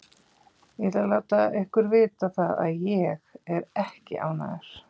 Ég ætla að láta ykkur vita það að ÉG er ekki ánægður.